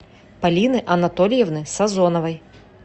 полины анатольевны сазоновой